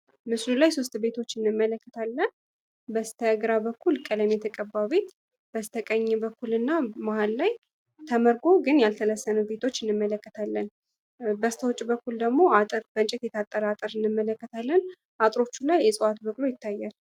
ምስሉ ላይ ሶስት ቤቶችን እንመለከታለን በስተግራ በኩል ቀለም የተቀባ ቤት በስተቀኝ በኩል እና መሃል ላይ ተመርጎ ግን ያልተለሰኑ ቤቶችን እንመለከታለን በስተውጭ በኩል ደግሞ አጥር የታጠረ ቤት እንመለከታለን አጥሮቹ ላይ የእጽዋት በር ይታያል።